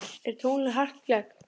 Er tunglið hart í gegn?